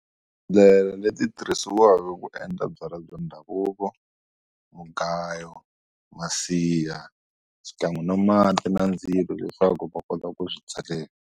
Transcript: leti ti tirhisiwaka ku endla byalwa bya ndhavuko mugayo masiha swikan'we na mati na ndzilo leswaku va kota ku swi tseleka.